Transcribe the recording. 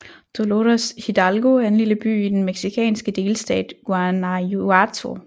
Dolores Hidalgo er en lille by i den mexicanske delstat Guanajuato